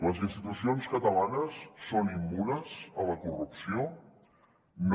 les institucions catalanes són immunes a la corrupció no